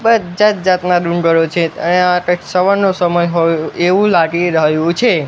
જાત-જાતના ડુંગરો છે અયા કાઈક સવારનો સમય હોય એવું લાગી રહ્યું છે.